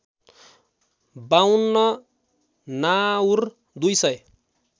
५२ नाउर २ सय